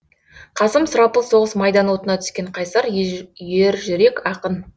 қасым сұрапыл соғыс майдан отына түскен қайсар ержүрек ақын